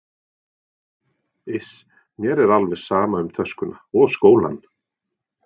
Iss, mér er alveg sama um töskuna og skólann